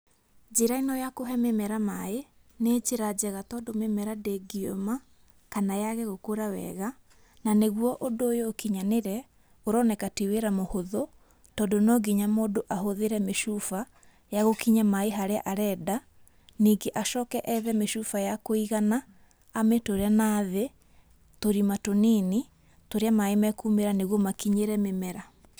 Njĩra ĩno ya kũhe mĩmera maĩ, nĩ njĩra njega tondũ mĩmera ndĩngĩũma, kana yage gũkũra wega, na nĩguo ũndũ ũyũ ũkinyanĩre, ũroneka ti wĩra mũhũthũ, tondũ no nginya mũndũ ahũthĩre mĩcuba, ya gũkinyia maĩ harĩa arenda. Ningĩ acoke ethe mĩcuba ya kũigana, amĩtũre na thĩ, tũrima tũnini, tũrĩa maĩ mekumĩra nĩguo makinyĩre mĩmera.